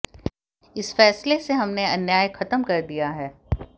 इस फैसले से हमने अन्याय खत्म कर दिया है